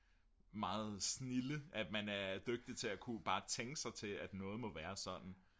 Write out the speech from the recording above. meget snilde at man er dygtig til at ku bare tænke sig til at noget må være sådan